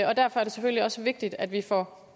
og derfor er det selvfølgelig også vigtigt at vi får